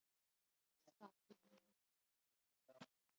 Ég get í raun ekki lýst því.